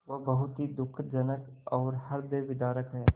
वह बहुत ही दुःखजनक और हृदयविदारक है